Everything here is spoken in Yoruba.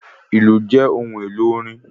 Ìlù jẹ́ ohun èlò orin